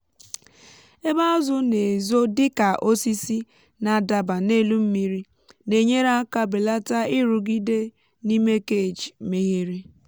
ebe azụ na-ezo dịka osisi na-adaba n’elu mmiri na-enyere aka belata nrụgide n'ime cage meghere.